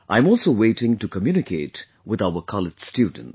I am also waiting to communicate with our college students